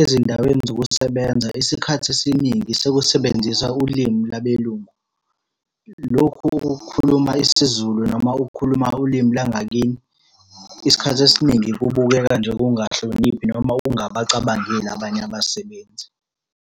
ezindaweni zokusebenza isikhathi esiningi sekusebenzisa ulimi labeLungu. Lokhu ukukhuluma isiZulu noma ukukhuluma ulimi langakini, isikhathi esiningi kubukeka nje kungahloniphi noma kungabacabangeli abanye abasebenzi.